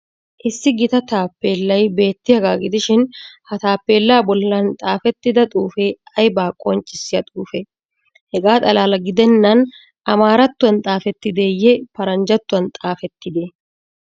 Issi gita taappeellay beettiyagaa gidishi ha taappeellaa bollan xaafettida xuufee aybaa qonccissiya xuufee? Hegaa xalaala gidennan amaarattuwan xaafettideeyye paranjjattuwan xaafettidee?